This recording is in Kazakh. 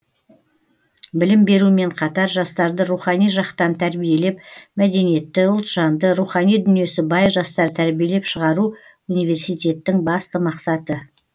білім берумен қатар жастарды рухани жақтан тәрбиелеп мәдениетті ұлтжанды рухани дүниесі бай жастар тәрбиелеп шығару университеттің басты мақсаты